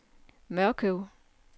Mørkøv